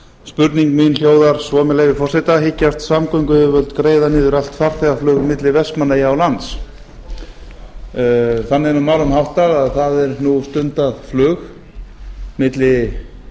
spurning mín hljóðar svo með leyfi forseta hyggjast samgönguyfirvöld greiða niður allt farþegaflug milli vestmannaeyja og lands þannig er nú málum háttað að það er nú stundað flug milli